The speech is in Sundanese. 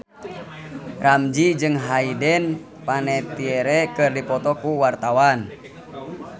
Ramzy jeung Hayden Panettiere keur dipoto ku wartawan